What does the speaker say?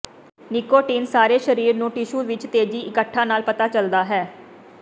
nicotine ਸਾਰੇ ਸਰੀਰ ਨੂੰ ਟਿਸ਼ੂ ਵਿਚ ਤੇਜ਼ੀ ਇੱਕਠਾ ਨਾਲ ਪਤਾ ਚੱਲਦਾ ਹੈ